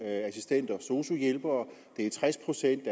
assistenter og sosu hjælpere det er tres procent